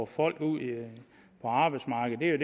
folk ud på arbejdsmarkedet